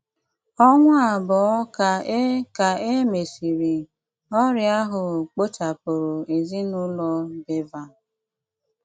Ọ̀nwa àbụọ̀ ka e ka e mésịrị, ọrịa ahụ kpòchàpụrụ ezinùlọ Bevan.